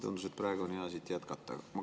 Tundus, et praegu on hea siit jätkata.